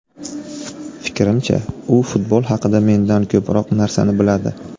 Fikrimcha, u futbol haqida mendan ko‘proq narsani biladi.